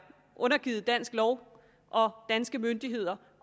undergivet dansk lov og danske myndigheder